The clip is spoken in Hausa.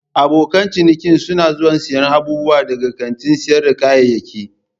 Abokan ciniki suna zuwa siyan abubuwa daga kantin sayar da kayayyaki.